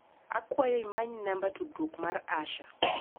Akwayo imany namba tudruok mar Asha.